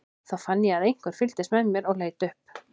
Þá fann ég að einhver fylgdist með mér og leit upp.